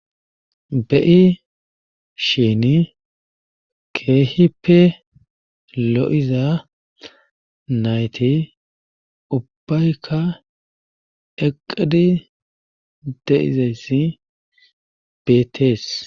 Be7ishini keehippe lo7iza nayti ubbaykka eqqidi de7izayssi beettes.